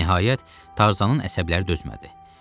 Nəhayət, Tarzanın əsəbləri dözmədi.